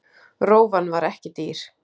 Rófan var ekki dýr.